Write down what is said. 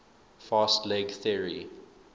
fast leg theory